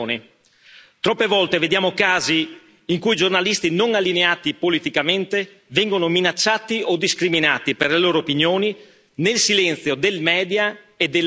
Troppe volte vediamo casi in cui giornalisti non allineati politicamente vengono minacciati o discriminati per le loro opinioni, nel silenzio dei media e della politica.